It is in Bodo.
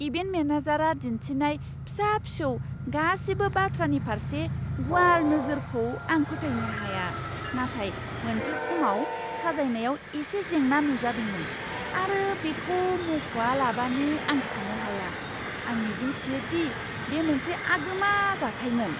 इभेन्ट मेनेजारआ दिन्थिनाय फिसा फिसौ गासिबो बाथ्रानि फारसे गुवार नोजोरखौ आं फोथायनो हाया, नाथाय मोनसे समाव साजायनायाव एसे जेंना नुजादोंमोन आरो बेखौ मुंख'आलाबानो आं थानो हाया। आं मिजिंथियो दि बे मोनसे आगोमा जाथायमोन!